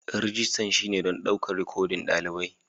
Rijistar shine don ɗaukar rikodin ɗalibai.